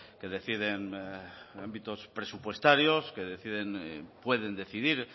que deciden ámbitos presupuestarios que pueden decidir